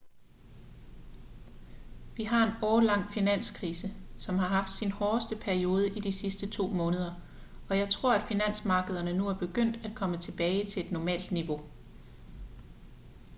vi har en årelang finanskrise som har haft sin hårdeste periode i de sidste to måneder og jeg tror at finansmarkederne nu er begyndt at komme tilbage til et normalt niveau